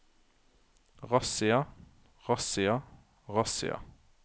razzia razzia razzia